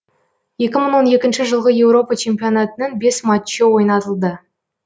екі мың он екінші жылғы еуропа чемпионатының бес матчы ойнатылды